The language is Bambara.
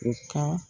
U ka